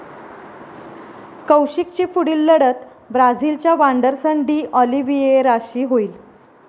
कौशिकची पुढील लढत ब्राझीलच्या वांडरसन डी ऑलिव्हिएराशी होईल.